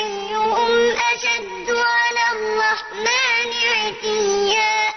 أَيُّهُمْ أَشَدُّ عَلَى الرَّحْمَٰنِ عِتِيًّا